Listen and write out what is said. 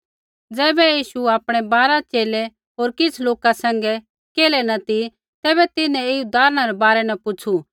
ज़ैबै यीशु आपणै बारा च़ेले होर किछ़ लोका सैंघै केल्है न ती तैबै तिन्हैं ऐई उदाहरणै रै बारै न पुछ़ू